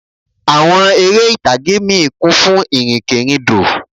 Àwọn eré ìtàgé míì kún fún ìrìnkèrindò